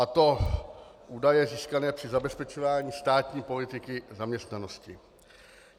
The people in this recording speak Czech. A to údaje získané při zabezpečování státní politiky zaměstnanosti.